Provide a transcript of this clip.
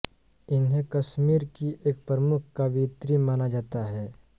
इन्हें कश्मीर की एक प्रमुख कवियित्री माना जाता है